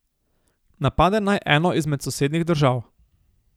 Napade naj eno izmed sosednjih držav.